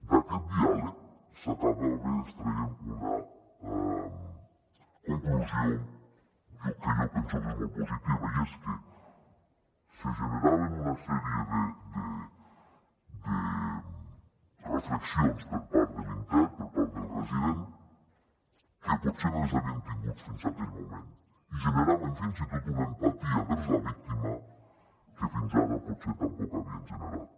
d’aquest diàleg s’acabava extraient una conclusió que jo penso que és molt positiva i és que se generaven una sèrie de reflexions per part de l’intern per part del resident que potser no les havien tingut fins a aquell moment i generaven fins i tot una empatia envers la víctima que fins ara potser tampoc havien generat